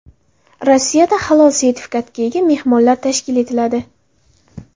Rossiyada halol sertifikatiga ega mehmonxonalar tashkil etiladi.